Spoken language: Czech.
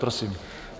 Prosím.